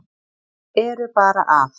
Eru bara að